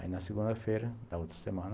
Aí na segunda-feira da outra semana,